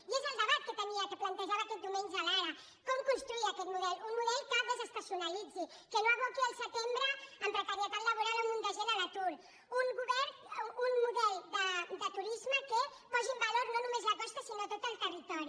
i és el debat que plantejava aquest diumenge l’ara com construir aquest model un model que desestacionalitzi que no aboqui el setembre amb precarietat laboral un munt de gent a l’atur un model de turisme que posi en valor no només la costa sinó tot el territori